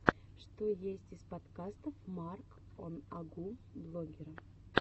что есть из подкастов марк он агу блогера